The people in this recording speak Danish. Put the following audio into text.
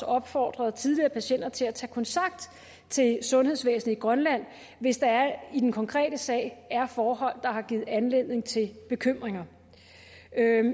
opfordret tidligere patienter til at tage kontakt til sundhedsvæsenet i grønland hvis der i den konkrete sag er forhold der har givet anledning til bekymringer